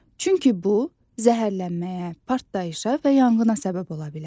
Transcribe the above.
Çünki bu, zəhərlənməyə, partlayışa və yanğına səbəb ola bilər.